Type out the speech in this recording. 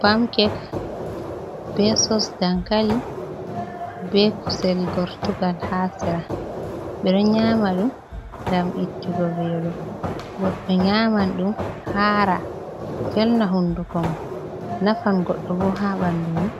Pamkek be sosdankali be kusel gortugal ha sera, bedo nyama dum gam ittugo velo, goddo nyaman dum hara velna hunduko mon, nafan goddo bo ha bandumom